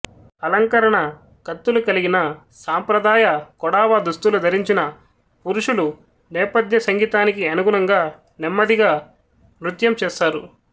అలంకరణ కత్తులు కలిగిన సాంప్రదాయ కొడావ దుస్తులు ధరించిన పురుషులు నేపథ్య సంగీతానికి అనుగుణంగా నెమ్మదిగా నృత్యం చేస్తారు